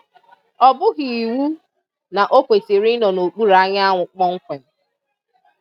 ọ bughị iwu na o kwesịrị ịnọ n'okpuru anyanwụ kpọmkwem